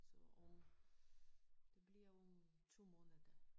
Så om det bliver om 2 måneder